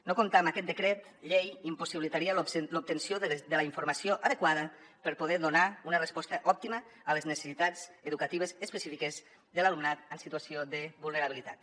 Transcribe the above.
no comptar amb aquest decret llei impossibilitaria l’obtenció de la informació adequada per poder donar una resposta òptima a les necessitats educatives específiques de l’alumnat en situació de vulnerabilitat